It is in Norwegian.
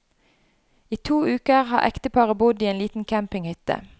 I to uker har ekteparet bodd i en liten campinghytte.